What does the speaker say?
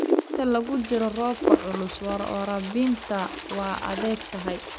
Inta lagu jiro roobabka culus, waraabinta waa adag tahay.